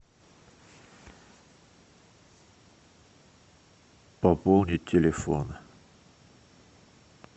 пополнить телефон